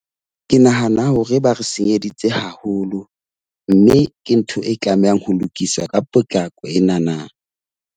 Ke nahana hore ba re senyeditse haholo, mme ke ntho e tlamehang ho lokiswa ka potlako enana.